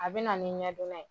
A bɛ na ni ɲɛdonna ye